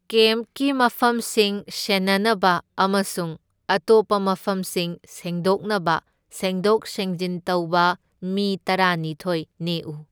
ꯀꯦꯝꯞꯀꯤ ꯃꯐꯝꯁꯤꯡ ꯁꯦꯟꯅꯅꯕ ꯑꯃꯁꯨꯡ ꯑꯇꯣꯞꯄ ꯃꯐꯝꯁꯤꯡ ꯁꯦꯡꯗꯣꯛꯅꯕ ꯁꯦꯡꯗꯣꯛ ꯁꯦꯡꯖꯤꯟ ꯇꯧꯕ ꯃꯤ ꯇꯔꯥꯅꯤꯊꯣꯢ ꯅꯦꯛꯎ꯫